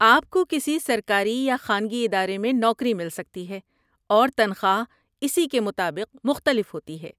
آپ کو کسی سرکاری یا خانگی ادارے میں نوکری مل سکتی ہے، اور تنخواہ اسی کے مطابق مختلف ہوتی ہے۔